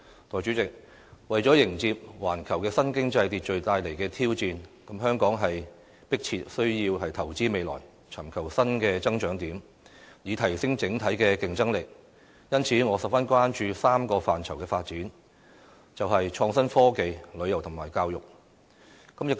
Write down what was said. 代理主席，為了迎接環球新經濟秩序帶來的挑戰，香港是迫切需要投資未來，尋求新的增長點，以提升整體的競爭力，因此，我十分關注3項範疇的發展，便是創新科技、旅遊和教育。